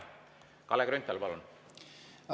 Kalle Grünthal, palun!